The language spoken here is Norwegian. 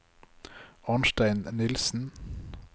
Arnstein Nilsen